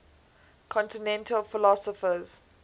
continental philosophers